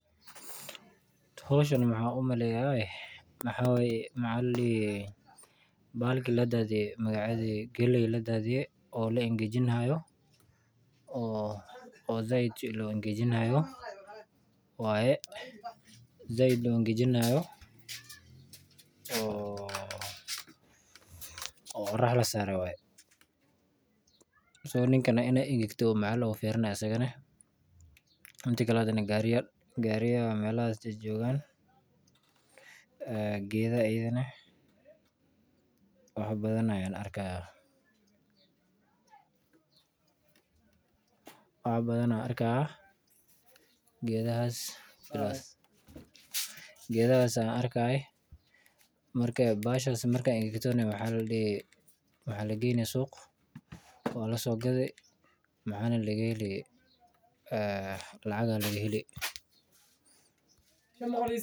Howshan waxaan umaleeya wxaa waye galey ladaadiye oo la angajiji haayo oo sait loo angajiji haayo oo orax lasaare mida kale ninkan wuu fiirini haaya inaay wngegete gaariya ayaan arki haaya geeda ayaan arki haaya bahashan marki aay engegeto suuqa ayaa lageyni lacag ayaa laga heli.